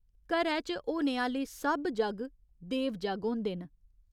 घरै च होने आह्‌ले सब जग्ग देव जग्ग होंदे न।